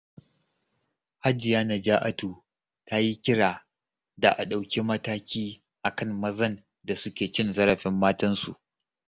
Hajiya Naja'atu ta yi kira da a ɗauki mataki a kan mazan da suke cin zarafin matansu.